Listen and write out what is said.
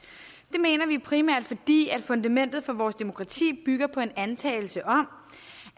mener vi primært fordi fundamentet for vores demokrati bygger på en antagelse om